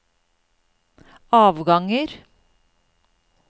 avganger